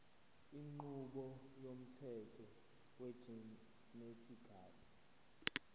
inqubo yomthetho wegenetically